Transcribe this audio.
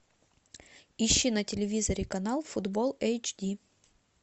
ищи на телевизоре канал футбол эйч ди